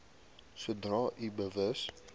sodra u bewus